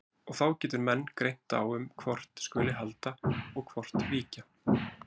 Og þá getur menn greint á um hvort skuli halda og hvort víkja.